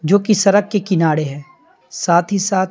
जो कि सड़क के किनारे है साथ ही साथ--